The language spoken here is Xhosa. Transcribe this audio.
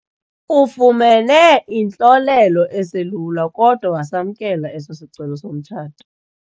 Ufumene intlolelo eselula kodwa wasamkela eso sicelo somtshato.